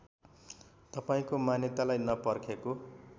तपाईँको मान्यतालाई नपर्खेको